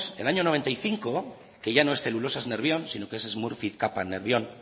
el año noventa y cinco que ya no es celulosas nervión sino que es smurfit kappa nervión